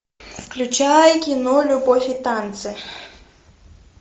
включай кино любовь и танцы